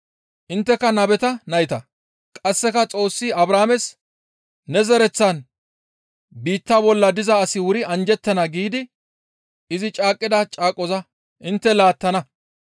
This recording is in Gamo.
Intteka nabeta nayta; qasseka Xoossi Abrahaames, ‹Ne zereththan biitta bolla diza asi wuri anjjettana› giidi izi caaqqida caaqoza intte laattana.